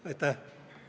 Aitäh!